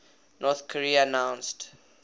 north korea announced